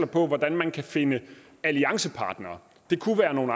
på hvordan man kan finde alliancepartnere det kunne være nogle